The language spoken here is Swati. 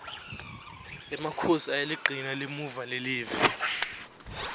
emakhosi ayaligcina limuva lelive